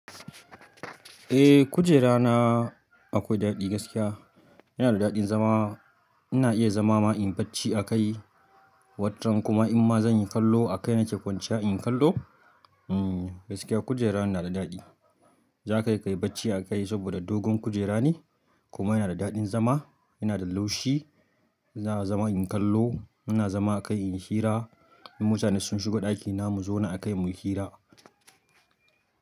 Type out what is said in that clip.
Eh kujera na akwai daɗi gaskiya. Yana da daɗin zama, ina iya zama ma inyi bacci a kai, watran kuma in ma zan yi kallo a kai na ce kwanciya in kallo. Hmm gaskiya kujera na yana da daɗi. Za ka kai yi bacci a kai saboda dogon kujera ne kuma yana da daɗin zama, yana da laushi, za a zama in kallo, ana zama a kai in hira. In mutane sun shigo ɗakina mu zauna a kai mu yi hira.